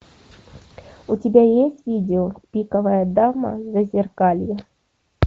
у тебя есть видео пиковая дама зазеркалье